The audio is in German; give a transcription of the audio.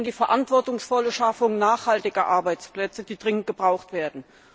Es geht nicht um die verantwortungsvolle Schaffung nachhaltiger Arbeitsplätze, die dringend gebraucht werden.